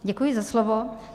Děkuji za slovo.